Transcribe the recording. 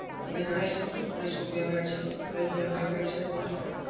તમે જણાવી શકો છો તમને શું favourite છે? મતલબ કઈ game favourite છે તમારી?